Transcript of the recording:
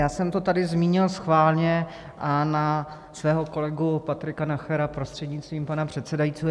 Já jsem to tady zmínil schválně, a na svého kolegu Patrika Nachera, prostřednictvím pana předsedajícího.